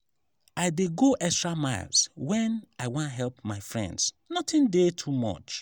i dey go extra miles wen i wan help my friends notin dey too much.